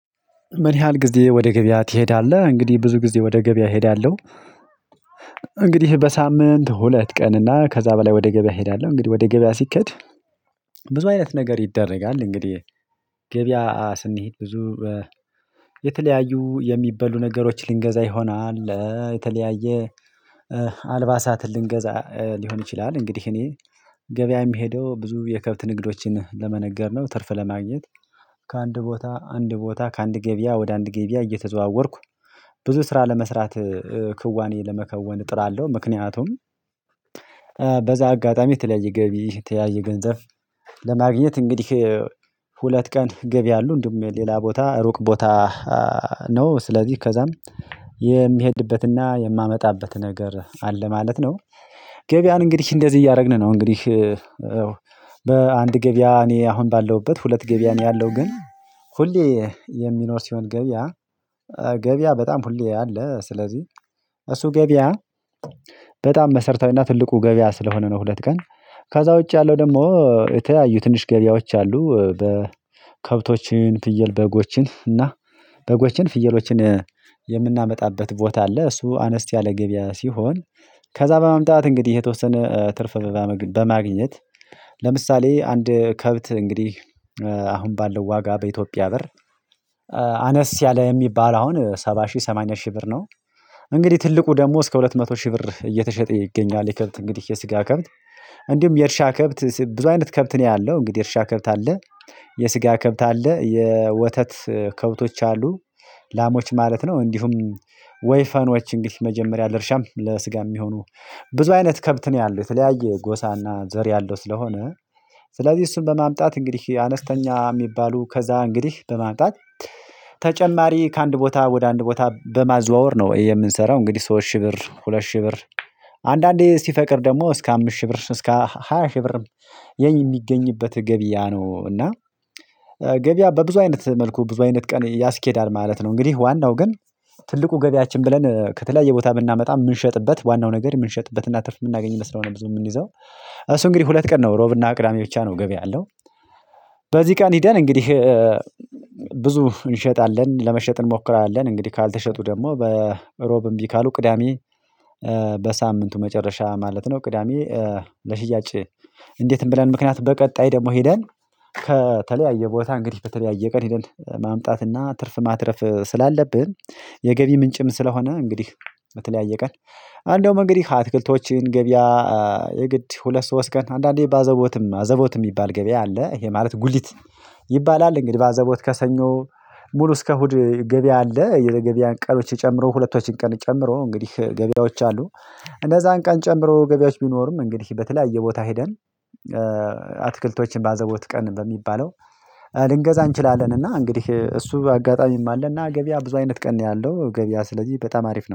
ምን ያህል ጊዜ ወደ ገበያ ትሄዳለህ? እንግዲህ ብዙ ጊዜ ወደ ገበያ እሄዳለሁ። እንግዲህ በሳምንት ሁለት ቀን እና ከዛ በላይ ወደ ገበያ እሄዳለሁ። እንግዲህ ወደ ገበያ ሲከድ ብዙ አይነት ነገር ይደረጋል። እንግዲህ ገበያ ስንሄድ ብዙ የተለያዩ የሚበሉ ነገሮች ልንገዛ ይሆናል የተለያየ አልባሳትን ልንገዛ ሊሆን ይችላል። እንግዲህ እኔ ገበያ የምሄደው ብዙ የከብት ንግዶችን ለመነገድ ነው። ትርፍ ለማግኘት። ከአንድ ቦታ አንድ ቦታ ከአንድ ገበያ ወደ አንድ ገብያ እየተዘዋወርኩ ብዙ ስራ ለመስራት ክዋኔ ለመከወን እጥራለሁ። ምክንያቱም በዛ አጋጣሚ የተለያየ ገቢ የተለያየ ገንዘብ። ለማግኘት እንግዲህ ሁለት ቀን ገቢ አሉ እንዲሁም ሌላ ቦታ ሩቅ ቦታ። ነው ስለዚህ ከዛም የሚሄድበትና የማመጣበት ነገር አለ ማለት ነው። ገበያን እንግዲህ እንደዚህ እያደረግን ነው እንግዲህ። ገበያ እኔ አሁን ባለሁበት ሁለት ገበያ ነው ያለው። ግን ሁሌ የሚኖር ሲሆን ገበያ ገበያ በጣም ሁሌ አለ። ስለዚህ እሱ ገበያ በጣም መሰረታዊና ትልቁ ገበያ ስለሆነ ነው። ሁለት ቀን ከዛ ውጪ ያለው ደግሞ የተያዩ ትንሽ ገበያዎች አሉ። በከብቶችን ፍየል በጎችን እና በጎችን ፍየሎችን የምናመጣበት ቦታ አለ እሱ አነስ ያለ ገበያ ሲሆን። ከዛ በማምጣት እንግዲህ የተወሰነ ትርፍ በማግኘት። አንድ ከብት እንግዲህ አሁን ባለው ዋጋ በኢትዮጵያ ብር አነስ ያለ የሚባል አሁን ሰባ ሺህ ሰማኒያ ሺህ ብር ነው። እንግዲህ ትልቁ ደግሞ እስከ ሁለት መቶ ሺህ ብር እየተሸጠ ይገኛል። ይከብት እንግዲህ የስጋ ከብት እንዲሁም የእርሻ ከብት ብዙ አይነት ከብት ነው ያለው። እንግዲህ የእርሻ ከብት አለ የስጋ ከብት አለ የወተት ከብቶች አሉ ላሞች ማለት ነው። እንዲሁም ወይፈኖች እንግዲህ መጀመሪያ ለርሻም ለስጋ የሚሆኑ ብዙ አይነት ከብት ነው ያለው። የተለያየ ጎሳና ዘር ያለው ስለሆነ ስለዚህ እሱን በማምጣት እንግዲህ አነስተኛ የሚባሉ ከዛ እንግዲህ በማምጣት። ተጨማሪ ከአንድ ቦታ ወደ አንድ ቦታ በማዘዋወር ነው የምንሰራው። እንግዲህ ሶስት ሺህ ብር ሁለት ሺህ ብር አንዳንዴ ሲፈቅድ ደግሞ እስከ አምስት ሺህ ብር እስከ ሃያ ሺህ ብር የሚገኝበት ገቢያ ነው። እና በብዙ አይነት መልኩ ብዙ አይነት ቀን ያስኬዳል ማለት ነው። እንግዲህ ዋናው ግን ትልቁ ገበያችን ብለን ከተለያየ ቦታ ብናመጣ የምንሸጥበት ዋናው ነገር የምንሸጥበት እና ትርፍ የምናገኝ መስሎነው ብዙ የምንይዘው። እሱ እንግዲህ ሁለት ቀን ነው ሮብና ቅዳሜ ብቻ ነው ገበያ ያለው። በዚህ ቀን ሄደን እንግዲህ ብዙ እንሸጣለን ለመሸጥ እንሞክራለን። እንግዲህ ካልተሸጡ ደግሞ ሮብ እምቢ ካሉ ቅዳሜ በሳምንቱ መጨረሻ ማለት ነው። ቅዳሜ ለሽያጭ እንዴትም ብለን ምክንያት በቀጣይ ደግሞ ሄደን ከተለያየ ቦታ እንግዲህ በተለያየ ቀን ሄደን ማምጣት እና ትርፍ ማትረፍ ስላለብን። የገቢ ምንጭም ስለሆነ እንግዲህ በተለያየ ቀን እንደውም እንግዲህ አትክልቶችን ገበያ የግድ ሁለት ሶስት ቀን አንዳንዴ ባዘቦትም አዘቦትም የሚባል ገበያ አለ። ይሄ ማለት ጉሊት ይባላል። እንግዲህ ባዘቦት ከሰኞ ሙሉ እስከ እሁድ ገበያ አለ። የገበያን ቀኖች ጨምሮ ሁለቶችን ቀን ጨምሮ እንግዲህ ገበያዎች አሉ። እነዛን ቀን ጨምሮ ገበያዎች ቢኖሩም እንግዲህ በተለያየ ቦታ ሄደን አትክልቶችን ባዘቦት ቀን በሚባለው ልንገዛ እንችላለን። እና እንግዲህ እሱ አጋጣሚም አለ። እና ገበያ ብዙ አይነት ቀን ነው ያለው ገበያ ስለዚህ በጣም አሪፍ ነው